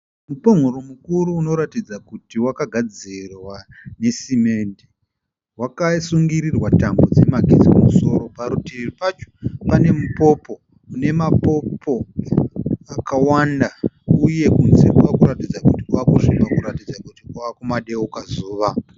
Mupongoro mukuru unoratidza kuti wakagadzirwa nesimende. Wakasungirirwa tambo dzemagetsi kumusoro. Parutivi pacho pane mupopo une mapopo akawanda uye kunze kwava kuratidza kuti kwava kusviba kuratidza kuti kwava kumadeuka zuva.